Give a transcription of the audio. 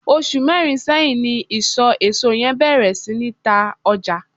osu merin seyin ni iso eso yen beer si ni ta oja